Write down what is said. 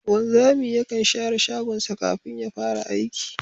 Wanzami yakan share shagonsa kafin ya fara aiki